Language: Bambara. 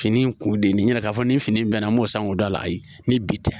Fini in kun de yɛrɛ k'a fɔ ni fini bɛnna n b'o san k'o da a ye ni bi tɛ